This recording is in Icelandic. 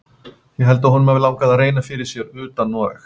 Ég held að honum hafi langað að reyna fyrir sér fyrir utan Noreg.